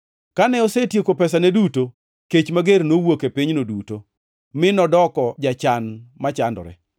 Kane osetieko pesane duto, kech mager nowuok e pinyno duto, mi nodoko jachan machandore.